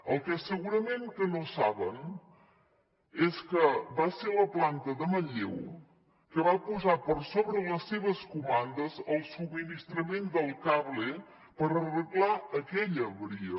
el que segurament no saben és que va ser la planta de manlleu la que va posar per sobre de les seves comandes el subministrament del cable per arreglar aquella avaria